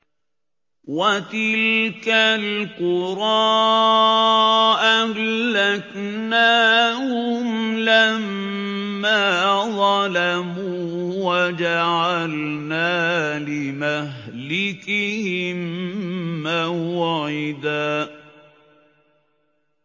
وَتِلْكَ الْقُرَىٰ أَهْلَكْنَاهُمْ لَمَّا ظَلَمُوا وَجَعَلْنَا لِمَهْلِكِهِم مَّوْعِدًا